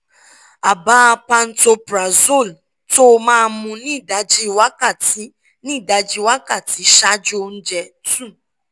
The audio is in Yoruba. ààbà pantoprazole tó o máa mu ní ìdajì wákàtí ní ìdajì wákàtí ṣáájú oúnjẹ two